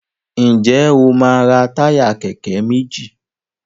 Njé o ma ra Táyà kéké méjì